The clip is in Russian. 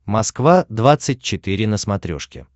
москва двадцать четыре на смотрешке